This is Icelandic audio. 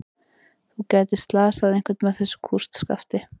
Þú gætir slasað einhvern með þessu kústskafti.